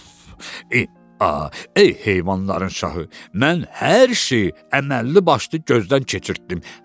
Af, eee, ey heyvanların şahı, mən hər şeyi əməlli başlı gözdən keçirtdim.